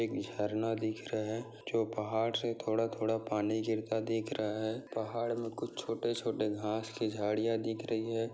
एक झरना दिख रहा है जो पहाड़ से थोड़ा-थोड़ा पानी गिरता दिख रहा है पहाड़ मे कुछ छोटे-छोटे घाँस के झाड़िया दिख रही है।